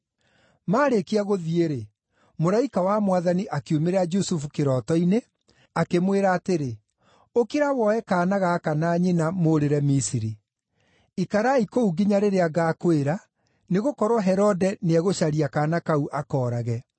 Maarĩkia gũthiĩ-rĩ, mũraika wa Mwathani akiumĩrĩra Jusufu kĩroto-inĩ, akĩmwĩra atĩrĩ, “Ũkĩra woe kaana gaka na nyina mũũrĩre Misiri. Ikarai kũu nginya rĩrĩa ngaakwĩra, nĩgũkorwo Herode nĩegũcaria kaana kau akoorage.”